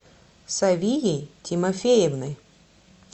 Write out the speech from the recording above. савией тимофеевной